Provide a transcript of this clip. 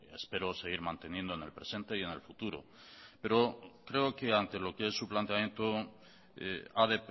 espero seguir manteniendo en el presente y en el futuro pero creo que ante lo que es su planteamiento ha